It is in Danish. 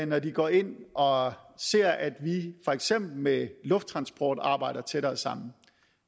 når de går ind og ser at vi for eksempel med lufttransport arbejder tættere sammen